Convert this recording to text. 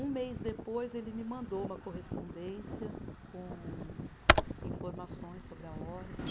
Um mês depois, ele me mandou uma correspondência com informações sobre a ordem.